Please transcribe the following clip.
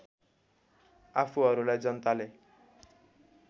आफूहरूलाई जनताले